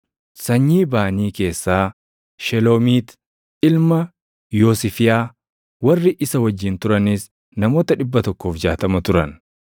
sanyii Baanii keessaa Sheloomiit ilma Yoosifiyaa; warri isa wajjin turanis namoota 160 turan;